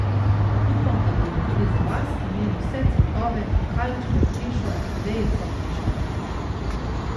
Upam, da bodo tudi za vas imeli vse cvetove, kalčke, krešo, vejico in šopke.